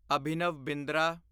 Abhinav Bindra